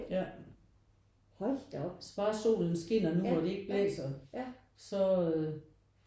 Ja bare solen skinner nu hvor det ikke blæser så øh